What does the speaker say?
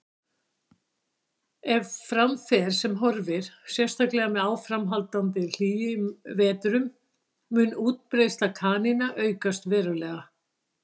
Ef fram fer sem horfir, sérstaklega með áframhaldandi hlýjum vetrum, mun útbreiðsla kanína aukast verulega.